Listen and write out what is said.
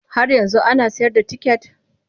Har yanzu an ana sayar da ticket?